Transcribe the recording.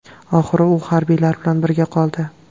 Oxiri u harbiylar bilan birga qoldi.